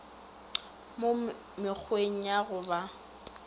mo mekgweng ya go ba